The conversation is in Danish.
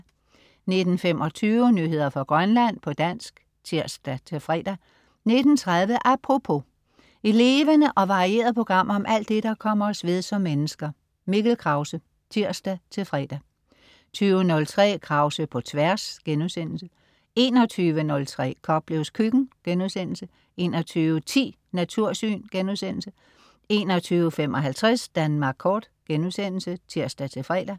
19.25 Nyheder fra Grønland, på dansk (tirs-fre) 19.30 Apropos. Et levende og varieret program om alt det, der kommer os ved som mennesker. Mikkel Krause (tirs-fre) 20.03 Krause på Tværs* 21.03 Koplevs Køkken* 21.10 Natursyn* 21.55 Danmark Kort* (tirs-fre)